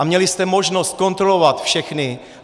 A ěli jste možnost kontrolovat všechny.